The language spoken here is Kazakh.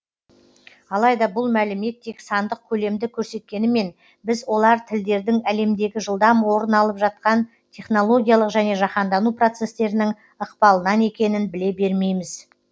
алайда бұл мәлімет тек сандық көлемді көрсеткенімен біз олар тілдердің әлемдегі жылдам орын алып жатқан технологиялық және жаһандану процестерінің ықпалынан екенін біле бермейміз